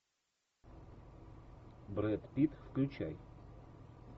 брэд питт включай